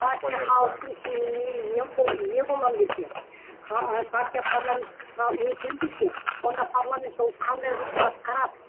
партия халықтың сеніміне ие боламын десе партия парламентке өтем десе онда парламентте ол қандай жұмысты атқарады